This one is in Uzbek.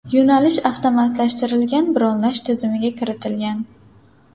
Yo‘nalish avtomatlashtirilgan bronlash tizimiga kiritilgan.